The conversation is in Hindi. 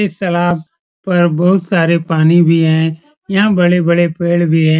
इस सलाब पर बहुत सारे पानी भी है यहां बड़े-बड़े पेड़ भी है।